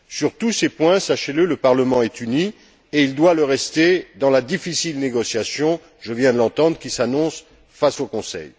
Sur tous ces points, sachez le, le Parlement est uni et il doit le rester dans la difficile négociation, je viens de l'entendre, qui s'annonce face au Conseil.